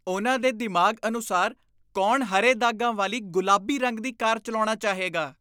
ਉਨ੍ਹਾਂ ਦੇ ਦਿਮਾਗ਼ ਅਨੁਸਾਰ ਕੌਣ ਹਰੇ ਦਾਗਾਂ ਵਾਲੀ ਗੁਲਾਬੀ ਰੰਗ ਦੀ ਕਾਰ ਚਲਾਉਣਾ ਚਾਹੇਗਾ?